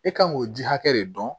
E kan k'o ji hakɛ de dɔn